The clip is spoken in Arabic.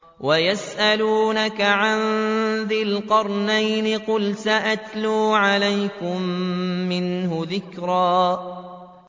وَيَسْأَلُونَكَ عَن ذِي الْقَرْنَيْنِ ۖ قُلْ سَأَتْلُو عَلَيْكُم مِّنْهُ ذِكْرًا